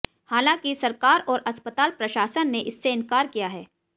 हांलांकि सरकार और अस्पताल प्रशासन ने इससे इंकार किया है